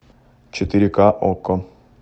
четыре ка окко